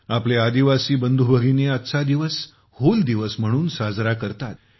आपले आदिवासी बंधू भगिनी आजचा हा दिवस 'हूल दिवस' म्हणून साजरा करतात